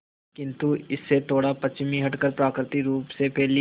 किंतु इससे थोड़ा पश्चिम हटकर प्राकृतिक रूप से फैली